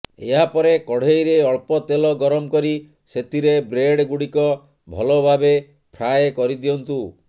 ଏହାପରେ କଡେଇରେ ଅଳ୍ପ ତେଲ ଗରମ କରି ସେଥିରେ ବ୍ରେଡ ଗୁଡିକ ଭଲଭାବେ ଫ୍ରାଏ କରିଦିଅନ୍ତୁ